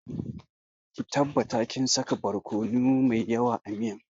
Ki tabbata kin saka borkono mai yawa a miyan